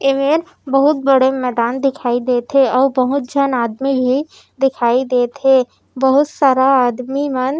ए मेर बहुत बड़े मैदान दिखाई देत हे अउ बहुत झन आदमी भी दिखाई देत हे बहुत सारा आदमी मन--